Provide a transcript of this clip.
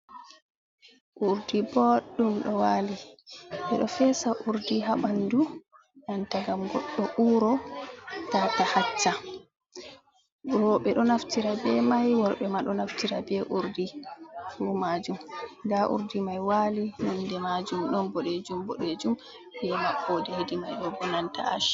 Urdi boɗɗum ɗo waali ,ɓe ɗo feesa urdi haa ɓanndu denta, ngam goɗɗo uuro tata hacca. Rowɓe ɗo naftira be may, worɓe ma ɗo naftira be urdi fuu maajum. Ndaa urdi may waali, nonde maajum ɗon boɗeejum boɗeejum be maɓɓoode hedi may bo bananta aac.